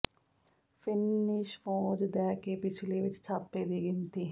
Finnish ਫ਼ੌਜ ਦਹਿ ਦੇ ਿਪਛਲੇ ਵਿੱਚ ਛਾਪੇ ਦੀ ਗਿਣਤੀ